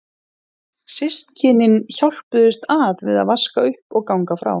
Systkynin hjálpuðust að við að vaska upp og ganga frá.